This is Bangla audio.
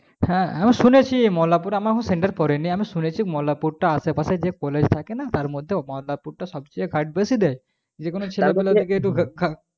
হ্যাঁ আমি শুনেছি মল্লারপুর এ আমার এখনো guard পড়েনি আমি শুনেছি মল্লারপুরটা আশেপাশে যে college থাকে না তার মধ্যে মল্লারপুর টা সবচেয়ে guard বেশি দেয় যে কোনো ছেলে বলে